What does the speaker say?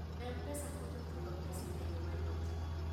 M-Pesa konyo chulo pesa e yo mayot.